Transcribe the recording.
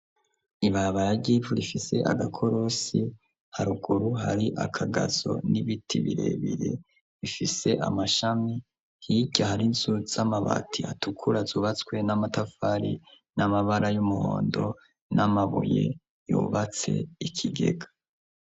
ibarabara givu rifise agakorosi haruguru hari akagazo n'ibiti birebere bifise amashami hiryo hari inzu t z'amabati atukura zubatswe n'amatafari n'amabara y'umuhondo n'amabuye yubatse ikigega.